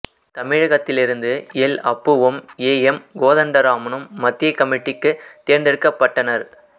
தமிழகத்திலிருந்து எல் அப்புவும் A M கோதண்டராமனும் மத்திய கமிட்டிக்குத் தேர்ந்தெடுக்கப்பட்டனர்